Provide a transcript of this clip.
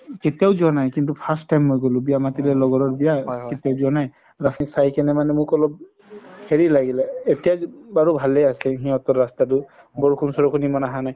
কেতিয়াও যোৱা নাই কিন্তু first time মই গলো বিয়া মাতিলে লগৰৰ বিয়া যোৱা নাই ৰাতি খাই কিনে মানে মোক অলপ হেৰি লাগিলে বাৰু ভালে আছে সিহতৰ ৰাস্তাতো বৰষুণ চৰুষুণ ইমান আহা নাই